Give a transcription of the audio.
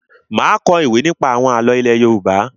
Má a kọ ìwé nípa àwọn àlọ́ ilé Yorùbá.